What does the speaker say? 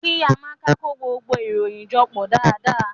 Ki Amaka ko gbogbo iroyin jọ pọ daadaa.